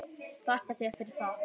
Þakka þér fyrir það.